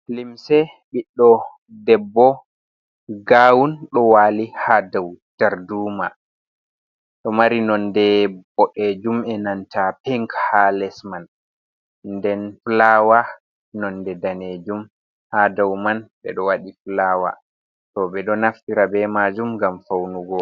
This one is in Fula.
"Limse ɓiɗɗo debbo gawun ɗo wali ha dou darduma ɗo mari nonde boɗejum enanta pink ha les man nden fulaawa nonde danejum ha dou man ɓedo waɗi fulaawa to ɓeɗo naftira ɓe majum ngam faunugo.